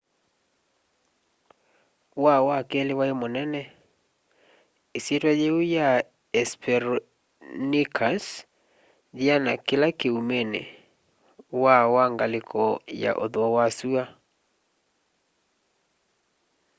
waa wa keli wai munene isyitwa yiu ya hesperonychus yiana kila kiumini waa wa ngaliko ya uthuo wa sua